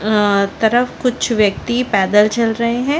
अ तरफ कुछ व्यक्ति पैदल चल रहै है।